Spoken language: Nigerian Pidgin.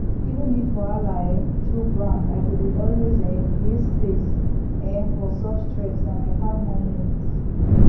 even if wahala um choke ground i dey always um create space um for soft stretch na my calm moment